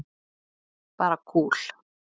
Bara kúl.